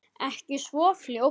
Ekki svo fljótt.